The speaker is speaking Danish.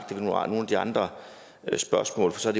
de andre spørgsmål så er